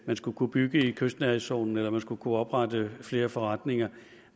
man skulle kunne bygge i kystnærhedszonen eller at man skulle kunne oprette flere forretninger